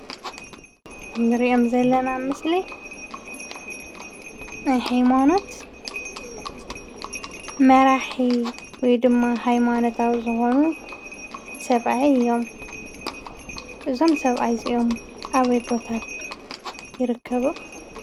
እዚ እንሪኦ ዘለና ምስሊ ናይ ሃይማኖት መራሒ ወይ ድማ ሃይማኖታዊ ዝኾኑ ሰብኣይ እዮም። እዞም ሰብኣይ እዚኦም ኣበይ ቦታ ይርከቡ?